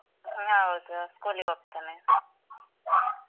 ಆ ಹೌದು school ಇಗ್ ಹೋಗ್ತಾನೆ